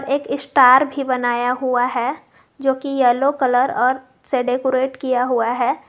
एक स्टार भी बनाया हुआ है जो की येलो कलर और से डेकोरेट किया हुआ है।